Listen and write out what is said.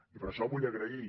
i per això vull agrair